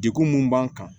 Degun mun b'an kan